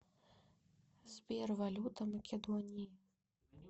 сбер валюта македонии